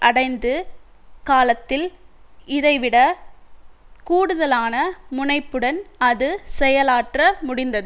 அடைந்தது காலத்தில் இதைவிட கூடுதலான முனைப்புடன் அது செயலாற்ற முடிந்தது